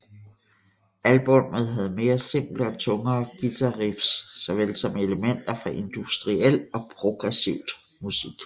Albummet havde mere simple og tungere guitariffs såvel som elementer fra industrial og progressivt musik